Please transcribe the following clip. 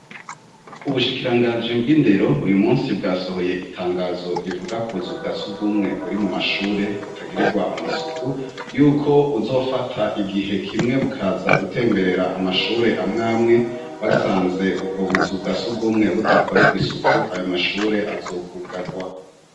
Ubushikiranganji bw'indero uyu munsi bwasohoye itangazo rivuga kubuzu bwa surwumwe buri mu mashure butagirirwa amasuku, yuko buzofata igihe kimwe bukaza gutemberera amashure amwe amwe, basanze ubwo buzu bwa surwumwe budakorerwa isuku, ayo mashure azokwugarwa.